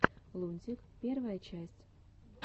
лунтик первая часть